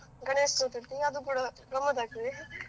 ಗಣೇಶ್ ಚತುರ್ಥಿ ಅದು ಕೂಡ ಗಮ್ಮತ್ ಆಗ್ತದೆ.